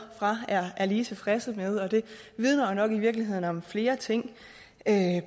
er lige tilfredse med og det vidner jo nok i virkeligheden om flere ting